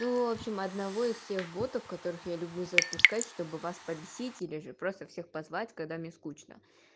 ну в общем одного из всех ботов которых я люблю запускать чтобы вас побесить или же просто всех позвать когда мне скучно